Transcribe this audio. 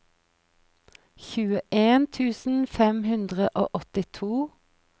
tjueen tusen fem hundre og åttito